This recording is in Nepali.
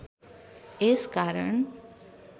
यस कारण